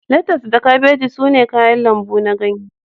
Letas da kabeji sune kayan lambu na ganye